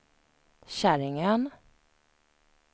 Käringön